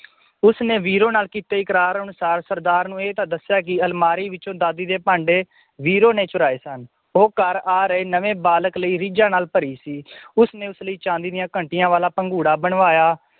ਉਸਨੇ ਵੀਰੋ ਨਾਲ ਕੀਤੇ ਇਕਰਾਰ ਅਨੁਸਾਰ ਸਰਦਾਰ ਨੂੰ ਇਹ ਤਾਂ ਦੱਸਿਆ ਕਿ ਅਲਮਾਰੀ ਵਿਚੋਂ ਦਾਦੀ ਦੇ ਭਾਂਡੇ ਵੀਰੋ ਨੇ ਚੁਰਾਏ ਸਨ ਉਹ ਘਰ ਆ ਰਹੇ ਨਵੇਂ ਬਾਲਕ ਲਈ ਰੀਝਾਂ ਨਾਲ ਭਰੀ ਸੀ ਉਸਨੇ ਉਸ ਲਈ ਚਾਂਦੀ ਦੀਆਂ ਘੰਟੀਆਂ ਵਾਲਾ ਭੰਗੂੜਾ ਬਣਵਾਇਆ